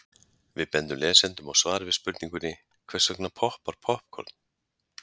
Við bendum lesendum á svar við spurningunni Hvers vegna poppar poppkorn?.